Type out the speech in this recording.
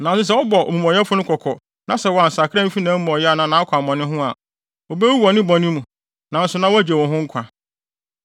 Nanso sɛ wobɔ omumɔyɛfo no kɔkɔ na sɛ wansakra amfi nʼamumɔyɛ anaa nʼakwammɔne ho a, obewu wɔ ne bɔne mu, nanso na woagye wo ho nkwa.